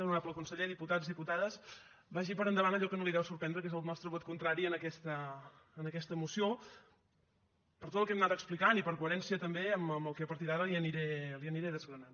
honorable conseller diputats diputades vagi per endavant allò que no li deu sorprendre que és el nostre vot contrari a aquesta moció per tot el que hem anat explicant i per coherència també amb el que a partir d’ara li aniré desgranant